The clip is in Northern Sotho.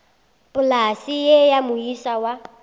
polase ye ya moisa wa